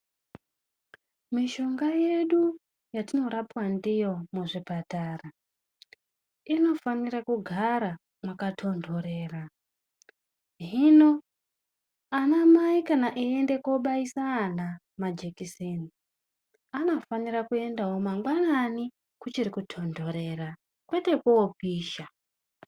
Mishonga yedu yatinorapwa ndiyo muzvipatara, nofanira kugara makatondorera. Hino anamai kana eyienda kundobayisa vana majekiseni, anofanira kuendawo mangwanani kuchiri kutondorera kwete koopisha.